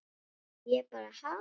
Og ég bara ha?